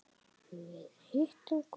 Við hittum Gulla.